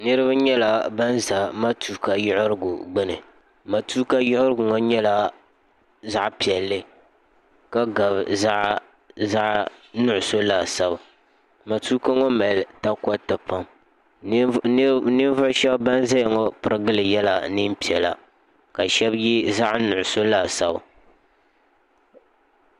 niraba nyɛla ban ʒɛ matuuka yiɣirigu gbuni matuuka yiɣirigu ŋo nyɛla zaɣ piɛlli ka gabi zaɣ nuɣso laasabu matuuka ŋo mali takoriti lam ninvuɣu shab ban ʒɛya ŋo pirigili yɛla neen piɛla ka shab yɛ zaɣ nuɣso laasabu